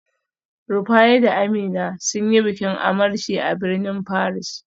Rufaye da Amina sun yi bikin amarci a birnin Paris